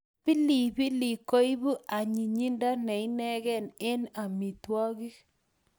Pilipilik koipu anyinyindo ne inegei eng amitwogik